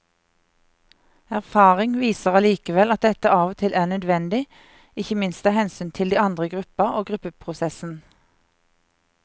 Erfaring viser allikevel at dette av og til er nødvendig, ikke minst av hensyn til de andre i gruppa og gruppeprosessen.